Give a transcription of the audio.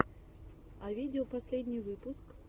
а видео последний выпуск